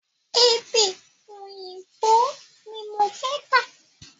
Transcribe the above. Èdè òyìnbó ní mo fẹ́ kà.